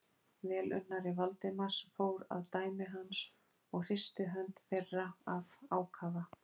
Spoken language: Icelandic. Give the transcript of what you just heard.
Velunnari Valdimars fór að dæmi hans og hristi hönd þeirra af ákafa.